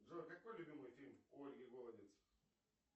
джой какой любимый фильм у ольги голодец